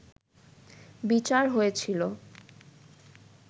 বিচার হয়েছিল